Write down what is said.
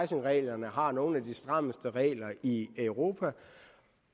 reglerne har nogle af de strammeste regler i europa